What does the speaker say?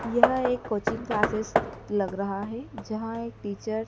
यह एक coaching classes लग रहा है जहां एक टीचर --